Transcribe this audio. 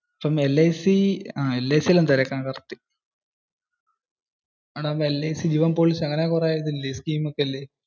ഇപ്പം LIC ഒന്ന് തിരക്കാം. LIC ജീവൻ policy അങ്ങനെ കുറെ scheme ഒക്കെ ഇല്ലേ?